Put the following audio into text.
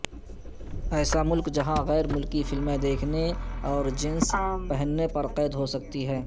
ایسا ملک جہاں غیر ملکی فلمیں دیکھنے اور جینز پہننے پر قید ہو سکتی ہے